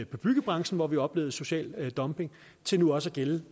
byggebranchen hvor vi oplevede social dumping til nu også at gælde